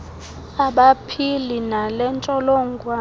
abaphila nale ntsholongwane